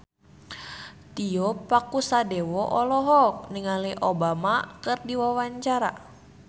Tio Pakusadewo olohok ningali Obama keur diwawancara